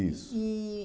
Isso. E...